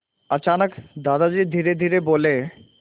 अचानक दादाजी धीरेधीरे बोले